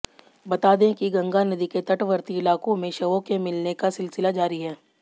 बतादें कि गंगा नदी के तटवर्ती इलाकों में शवों के मिलने का सिलसिला जारी है